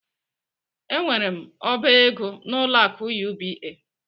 Enwere m oba ego n'ụlọ akụ UBA.